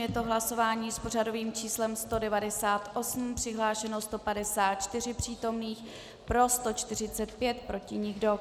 Je to hlasování s pořadovým číslem 198, přihlášeno 154 přítomných, pro 145, proti nikdo.